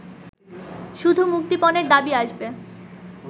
শুধু মুক্তিপণের দাবি আসবে